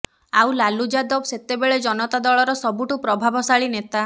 ଆଉ ଲାଲୁ ଯାଦବ ସେତେବେଳେ ଜନତା ଦଳର ସବୁଠୁ ପ୍ରଭାବଶାଳୀ ନେତା